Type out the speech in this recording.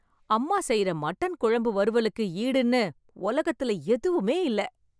அம்மா செய்யற மட்டன் குழம்பு வறுவலுக்கு ஈடுன்னு உலகத்துல எதுவுமே இல்ல.